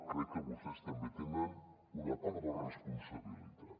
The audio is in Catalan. crec que vostès també en tenen una part de responsabilitat